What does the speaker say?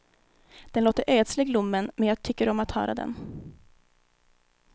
Den låter ödslig lommen, men jag tycker om att höra den.